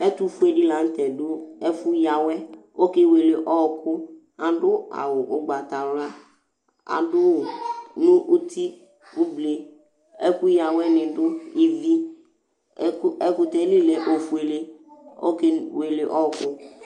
ɛtufué di latɛ du ɛfu yawɛ ɔkéwélé ɔku adu awu ugbata wla adui nu uti ublé ɛku yawɛ ni du ivi ɛkutɛ li lɛ ofuélé ɔkéwéli ɔkũ